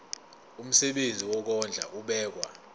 umsebenzi wokondla ubekwa